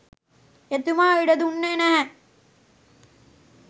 එතුමා ඉඩ දුන්නේ නැහැ.